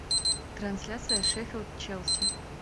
трансляция шеффилд челси